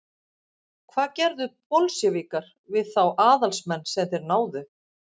hvað gerðu bolsévikar við þá aðalsmenn sem þeir náðu